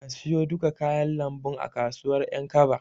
Ka siyo duka kayan lambun a kasuwar Ƴankaba.